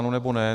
Ano, nebo ne.